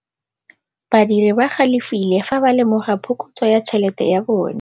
Badiri ba galefile fa ba lemoga phokotsô ya tšhelête ya bone.